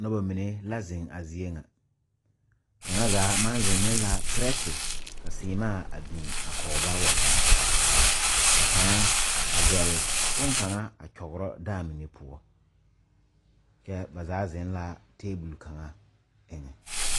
Noba mine la zeŋ a zie ŋa kaŋa zaa maŋ zeŋ ne la perɛte ka seemaa a biŋ a kɔgeba wa gaa ka kaŋa a zɛle bonkaŋa a kyɔgra dãã mine poɔ kyɛ ba zaa zeŋ la tabol kaŋ eŋɛ.